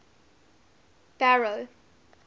barrow